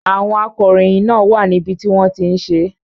Àwọn akọ̀ròyìn náà wà níbi tí wọ́n ti ń ṣe é.